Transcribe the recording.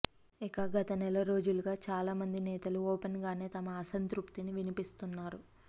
ఇక గత నెల రోజులుగా చాలా మంది నేతలు ఓపెన్ గానే తమ అసంతృప్తిని వినిపిస్తున్నారు